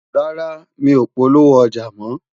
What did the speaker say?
rárá, mí ọ polówó ọja mọ